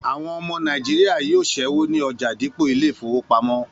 Àwọn ọmọ Nàìjíríà yóò ṣẹ́wó ní ọjà dípò ilé ìfowópamọ́